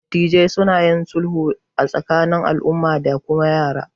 Dattibai suna yin sulhu a tsakanin al'umma da kuma yara